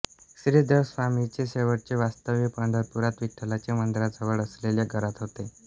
श्रीधरस्वामींचे शेवटचे वास्तव्य पंढरपुरात विठ्ठलाच्या मंदिराजवळ असलेल्या घरात होते